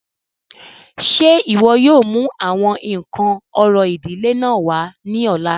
Ṣé iwọ yóò mu awọn nkan orȯ idile náà wa ni ọla?